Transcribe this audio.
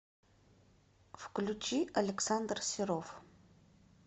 включи александр серов